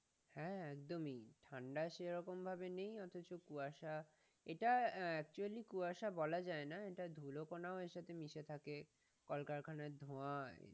হ্যাঁ একদমই ঠাণ্ডা সেরকমভাবে নেই অথচ কুয়াশা, এটা acculy কুয়াশা বলা যায়না এটা ধুলকণা এর সাথে মিশে থাকে, কলকারখানার ধোঁয়া